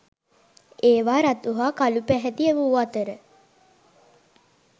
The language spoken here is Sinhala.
ඒවා රතු හා කළු පැහැති වූ අතර